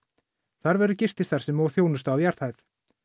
þar verður gististarfsemi og þjónusta á jarðhæð